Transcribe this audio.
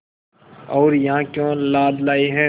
और यहाँ क्यों लाद लाए हैं